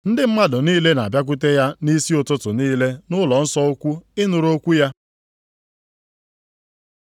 Ndị mmadụ niile na-abịakwute ya nʼisi ụtụtụ niile nʼụlọnsọ ukwu ịnụrụ okwu ya.